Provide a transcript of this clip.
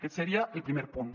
aquest seria el primer punt